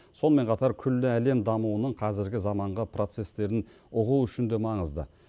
сонымен қатар күллі әлем дамуының қазіргі заманғы процестерін ұғу үшін де маңызды